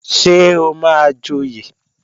Ṣé o máa joyè?